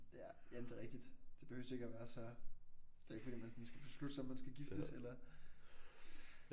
Ja jamen det er rigtigt. Det behøver ikke at være så det er ikke fordi man sådan skal beslutte sig om man skal giftes eller